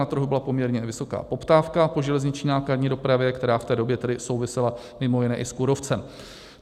Na trhu byla poměrně vysoká poptávka po železniční nákladní dopravě, která v té době tedy souvisela mimo jiné i s kůrovcem.